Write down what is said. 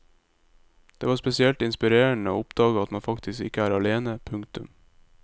Det var spesielt inspirerende å oppdage at man faktisk ikke er alene. punktum